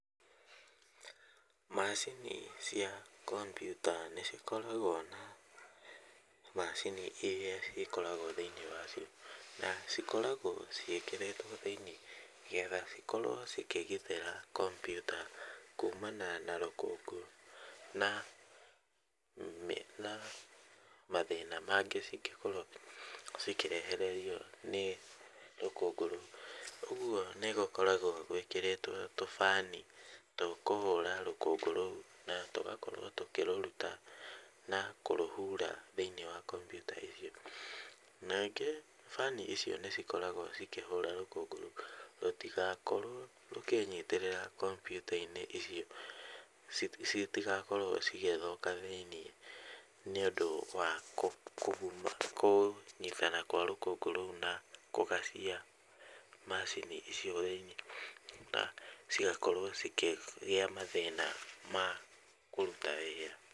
Macini cia kompiuta nĩcikoragwo na macini iria cikoragwo thĩinĩ wa cio, na cikoragwo ciĩkĩrĩtwo thĩinĩ getha cikorwo cikĩgitĩra kompiuta kumana na rũkũngũ na na mathĩna mangĩ cingĩkorwo cikĩrehererio nĩ rũkũngũ rũu. Ũguo nĩ gũkoragwo gwĩkĩrĩtwo tũbani tũkũhũra rũkũngũ rũu na tũgakorwo tũkĩrũruta na kũrũhura thĩinĩ wa kompyuta icio. Ningĩ bani icio nĩcikorgwo cikĩhũra rũkũngũ rũu rũtigakorwo rũkĩnyitĩrĩra kompiuta-inĩ icio citigakorwo cigĩthũka thĩinĩ nĩũndũ wa kũguma, kũnyitana kwa rũkũngũ rũu na kũgacia macini icio thĩinĩ, na cigakorwo cikĩgĩa mathĩna ma kũruta wĩra.